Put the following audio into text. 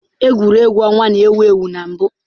Egwuregwu ọnwa na-ewu ewu na mbụ.